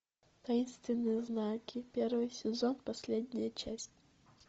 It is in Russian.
таинственные знаки первый сезон последняя часть